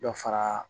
Dɔ fara